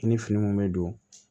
I ni fini mun bɛ don